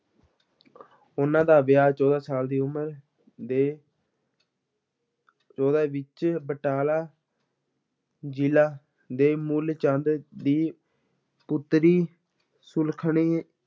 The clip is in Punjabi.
ਉਹਨਾਂ ਦਾ ਵਿਆਹ ਚੌਦਾਂ ਸਾਲ ਦੀ ਉਮਰ ਦੇ ਚੌਦਾਂ ਵਿੱਚ ਬਟਾਲਾ ਜ਼ਿਲ੍ਹਾ ਦੇ ਮੂਲ ਚੰਦ ਦੀ ਪੁੱਤਰੀ ਸੁਲੱਖਣੀ